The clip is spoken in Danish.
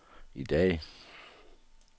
i dag